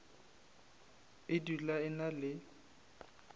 e dula e na le